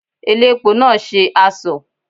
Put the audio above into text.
Elépo náà ṣe asọ̀.